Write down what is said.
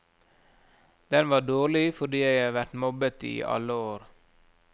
Den var dårlig fordi jeg har vært mobbet i alle år.